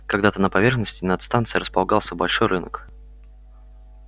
когда-то на поверхности над станцией располагался большой рынок